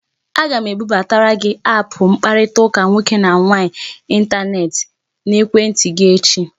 Aga m ebubatara gị aapụ mkparịtaụka nwoke na nwaanyị intaneti n'ekwentị gị echi